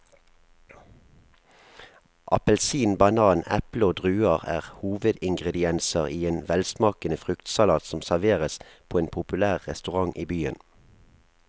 Appelsin, banan, eple og druer er hovedingredienser i en velsmakende fruktsalat som serveres på en populær restaurant i byen.